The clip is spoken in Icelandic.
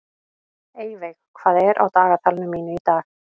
Eyveig, hvað er á dagatalinu mínu í dag?